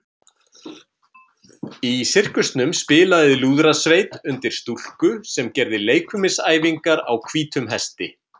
Í sirkusnum spilaði lúðrasveit undir stúlku sem gerði leikfimisæfingar á hvítum hesti.